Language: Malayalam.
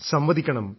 സംവദിക്കണം